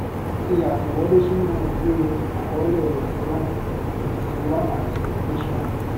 fi àtẹwọlé sínú ìwé àkọọlẹ ti ram ti ram àti krishan